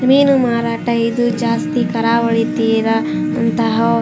ಮೀನು ಮಾರಾಟ ಇದು ಜಾಸ್ತಿ ಕರಾವಳಿ ತೀರಾ ಅಂತಹ --